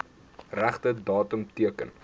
regte datum teken